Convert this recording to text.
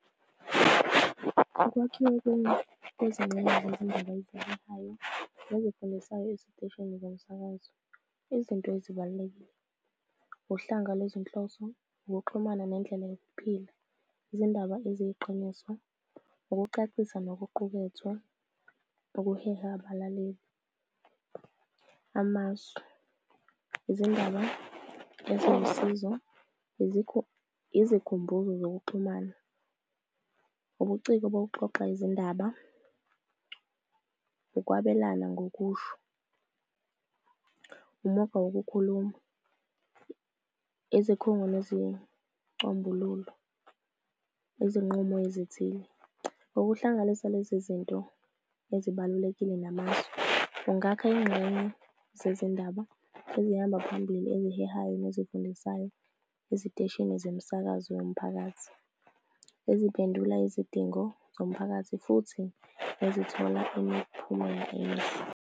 Ukwakhiwa kwezingxenye zezindaba ezihehayo nezifundisayo eziteshini zomsakazo izinto ezibalulekile, uhlanga kwezinhloso, ukuxhumana nendlela yokuphila, izindaba eziyiqiniso, ukucacisa nokuqukethwa okuheha abalaleli. Amasu, izindaba eziwusizo, izikhumbuzo zokuxhumana, ubuciko bokuxoxa izindaba, ukwabelana ngokusho, umugqa wokukhuluma, izikhungo izinqumo ezithile. Ngokuhlanganisa lezi zinto ezibalulekile namazwi, ungakha izingxenye zezindaba ezihamba phambili ey'hehayo nezifundisayo eziteshini zemisakazo yomphakathi, eziphendula izidingo zomphakathi, futhi nezithola imiphumela emihle.